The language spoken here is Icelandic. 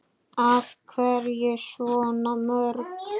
Af hverju svona mörg?